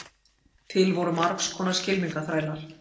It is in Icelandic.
Til voru margs konar skylmingaþrælar.